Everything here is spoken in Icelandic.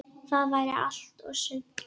Það væri allt og sumt.